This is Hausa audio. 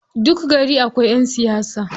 Duk gari akwai ƴan siyasa.